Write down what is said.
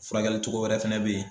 Furakɛlicogo wɛrɛ fɛnɛ bɛ ye.